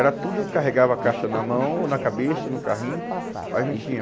Era tudo, carregava a caixa na mão, ou na cabeça, no carrinho, mas não tinha.